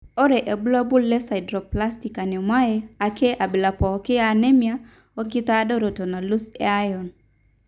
ore irbulabul leSideroblastic anemoae ake abila pooki eanemia oenkitadooroto nalus eiron.